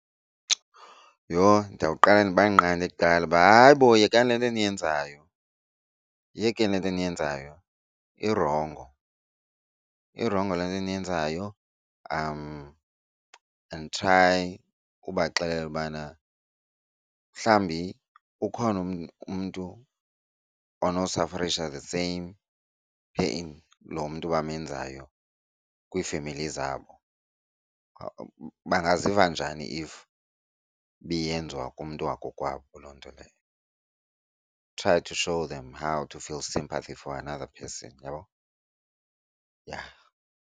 Yho, ndowuqala ndibanqande kuqala uba, hayi bo, yekani le nto niyenzayo yiyekeni le nto eniyenzayo irongo irongo le nto niyenzayo. And try ubaxelela ubana mhlawumbi ukhona umntu onosafarisha the same pain lo mntu bamenzayo kwiifemeli zabo. Bangaziva njani if beyenziwa kumntu wakokwabo loo nto leyo. Try to show them how to feel sympathy for another person, uyabo? Yha.